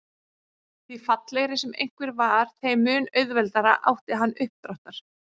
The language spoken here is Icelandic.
Því fallegri sem einhver var þeim mun auðveldara átti hann uppdráttar.